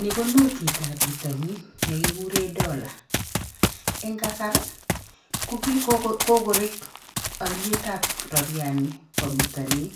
Ni ko notitab bitonin nekikuren Dollar. Eng' kasar, ko kokorek olietab rabiani bo bitonin.